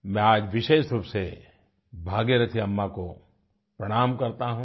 मैं आज विशेषरूप से भागीरथी अम्मा को प्रणाम करता हूँ